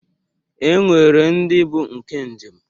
E nwere ndị bụ nke njem